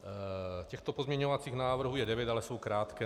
Těchto pozměňovacích návrhů je devět, ale jsou krátké.